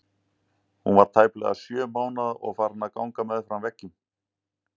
Hún var tæplega sjö mánaða og farin að ganga með fram veggjum.